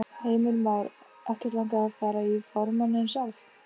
Heimir Már: Ekkert langað að fara í formanninn sjálf?